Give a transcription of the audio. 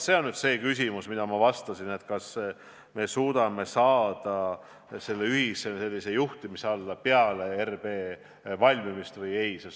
See on nüüd see küsimus, millele ma vastasin, et kas me suudame saada selle projekti ühise juhtimise alla peale RB valmimist või ei suuda.